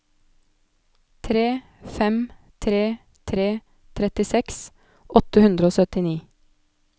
tre fem tre tre trettiseks åtte hundre og syttini